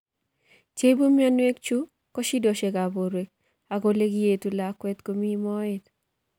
Che ipu mionwekk chu ko shidoshek ap porwek ak ole kietundo lakwet komii moet.